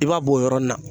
I b'a bɔ o yɔrɔnin na